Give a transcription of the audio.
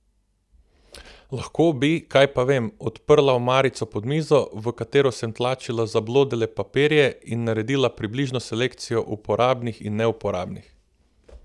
Lahko bi, kaj pa vem, odprla omarico pod mizo, v katero sem tlačila zablodele papirje, in naredila približno selekcijo uporabnih in neuporabnih.